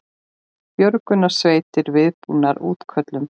Björgunarsveitir viðbúnar útköllum